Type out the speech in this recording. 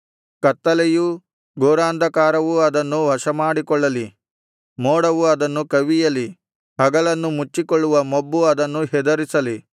ಕತ್ತಲೆಯೂ ಘೋರಾಂಧಕಾರವೂ ಅದನ್ನು ವಶಮಾಡಿಕೊಳ್ಳಲಿ ಮೋಡವು ಅದನ್ನು ಕವಿಯಲಿ ಹಗಲನ್ನು ಮುಚ್ಚಿಕೊಳ್ಳುವ ಮೊಬ್ಬು ಅದನ್ನು ಹೆದರಿಸಲಿ